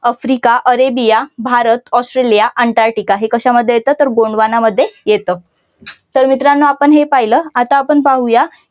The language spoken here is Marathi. Africa, Arabia, Bharat, Australia, Antarctica हे कशामध्ये येत तर गोंडवाना मध्ये येत. तर मित्रांनो आपण हे पाहिलं. आता आपण पाहू या.